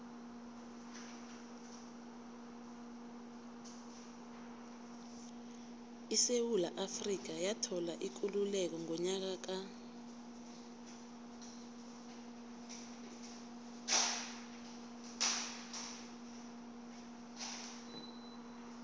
isewula afrika yathola ikululeko ngonyaka ka